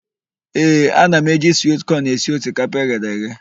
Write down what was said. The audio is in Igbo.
Ee, ana m eji swit kọn esi osikapa eghere eghe.